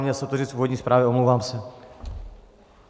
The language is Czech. Měl jsem to říct v úvodní zprávě, omlouvám se.